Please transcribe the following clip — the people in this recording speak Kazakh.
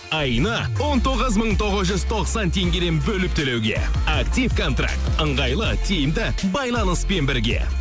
айына он тоғыз мың тоғыз жүз тоқсан теңгеден бөліп төлеуге актив контаркт ыңғайлы тиімді байланыспен бірге